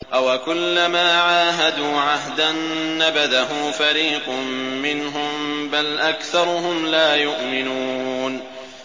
أَوَكُلَّمَا عَاهَدُوا عَهْدًا نَّبَذَهُ فَرِيقٌ مِّنْهُم ۚ بَلْ أَكْثَرُهُمْ لَا يُؤْمِنُونَ